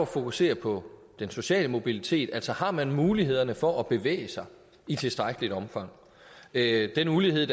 fokusere på den sociale mobilitet altså har man mulighederne for at bevæge sig i tilstrækkeligt omfang der er en ulighed